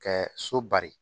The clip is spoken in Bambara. Kɛ so bari